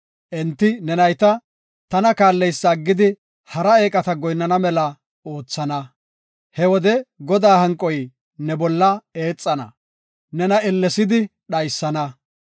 Enti ne nayta tana kaalleysa aggidi hara eeqata goyinnana mela oothana. He wode Godaa hanqoy ne bolla eexana; nena ellesidi dhaysana.